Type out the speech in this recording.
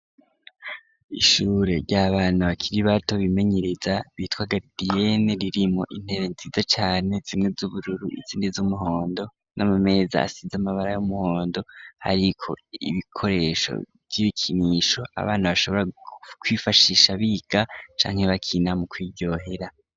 Ishure rya bana bakiri bato bimenyereza bitwa garidiyene ririmo intebe nziza cane zimwe z'ubururu izindi z'umuhondo n'amameza asize amabara y'umuhondo ariko ibikoresho vy'ibikinisho abana bashoborakwifashisha biga canke bakina mu kwiryohera.